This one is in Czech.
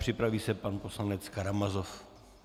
Připraví se pan poslanec Karamazov.